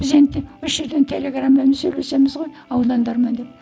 біз енді осы жерден телеграмамен сөйлесеміз ғой аудандармен деді